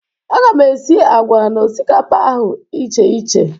A ga m esi àgwà na osikapa ahụ icheiche